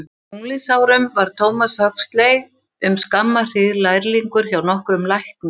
Á unglingsárum var Thomas Huxley um skamma hríð lærlingur hjá nokkrum læknum.